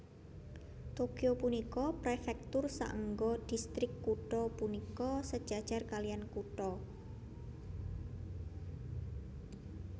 Tokyo punika prefektur saéngga distrik kutha punika sejajar kalihan kutha